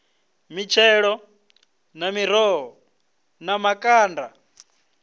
mitshelo na miroho na makanda